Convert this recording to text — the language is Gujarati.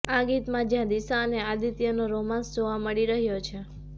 આ ગીતમાં જ્યાં દિશા અને આદિત્યનો રોમાન્સ જોવા મળી રહ્યો છે